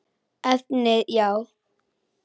Efnið já?